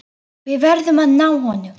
Við verðum að ná honum.